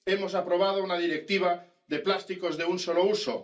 Hemos aprobado una Directiva de plásticos de un solo uso.